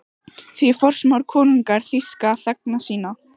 Því forsmáir konungur þýska þegna sína?